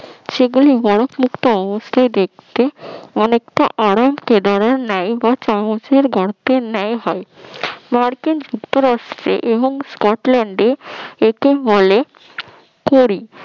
সেগুলো বরফ মুক্ত অবস্থায় দেখতে অনেকটা আরাম কেদারান ন্যায় বা চামচের গর্তের গর্তের ন্যায় হয় মার্কিন যুক্তরাষ্ট্রে এবং স্কটল্যান্ডে একে বলে করি